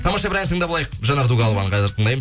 тамаша бір ән тыңдап алайық жанар дугалованың қазір тыңдаймыз